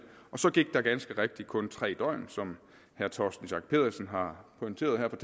og så gik der ganske rigtigt kun tre døgn som herre torsten schack pedersen har pointeret her